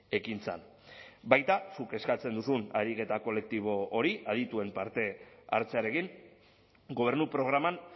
ekintzan baita zuk eskatzen duzun ariketa kolektibo hori adituen partehartzearekin gobernu programan